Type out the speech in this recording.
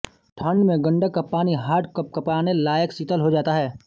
ठंड में गंडक का पानी हाड़ कँपकपाने लायक शीतल हो जाता है